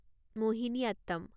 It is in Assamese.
মহিনীয়াত্তম